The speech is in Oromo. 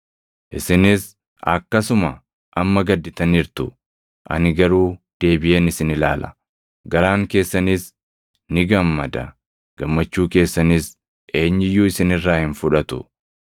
Isinis akkasuma amma gadditaniirtu; ani garuu deebiʼeen isin ilaala; garaan keessanis ni gammada. Gammachuu keessanis eenyu iyyuu isin irraa hin fudhatu.